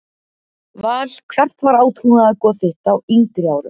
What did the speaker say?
Val Hvert var átrúnaðargoð þitt á yngri árum?